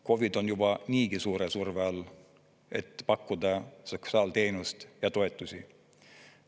KOV-id on juba niigi suure surve all, et pakkuda sotsiaalteenust ja -toetusi.